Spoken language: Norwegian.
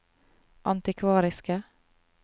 antikvariske